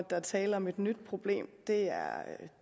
der er tale om et nyt problem det